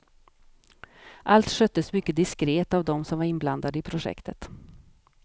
Allt sköttes mycket diskret av dem som var inblandade i projektet.